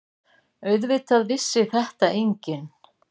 Auðvitað vissi þetta enginn.